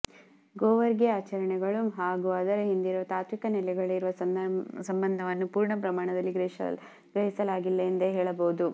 ಗೋವರ್ಗೆ ಆಚರಣೆಗಳು ಹಾಗೂ ಅದರ ಹಿಂದಿರುವ ತಾತ್ವಿಕ ನೆಲೆಗಳಿರುವ ಸಂಬಂಧವನ್ನು ಪೂರ್ಣ ಪ್ರಮಾಣದಲ್ಲಿ ಗ್ರಹಿಸಲಾಗಿಲ್ಲ ಎಂದೇ ಹೇಳಬಹುದು